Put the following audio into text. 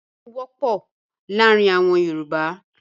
Iyán wọ́pọ̀ láàárin àwọn Yorùbá.